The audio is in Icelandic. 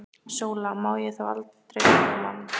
SÓLA: Má ég þá aldrei tala við mann?